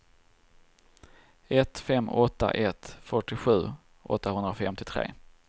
ett fem åtta ett fyrtiosju åttahundrafemtiotre